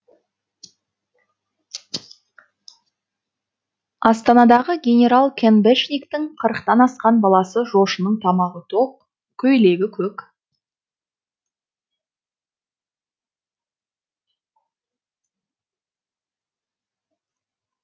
астанадағы генерал кэнбешниктің қырықтан асқан баласы жошының тамағы тоқ көйлегі көк